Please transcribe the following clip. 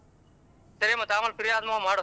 ಸರಿ ಮತ್ತೆ ಆಮೇಲ್ free ಆದ್ಮೇಲೆ ಮಾಡು.